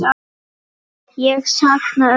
Ég sakna ömmu.